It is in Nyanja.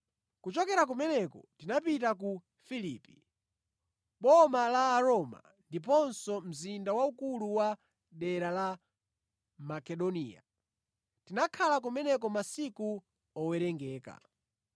Kuchokera kumeneko tinapita ku Filipi, boma la Aroma ndiponso mzinda waukulu wa dera la Makedoniya. Tinakhala kumeneko masiku owerengeka.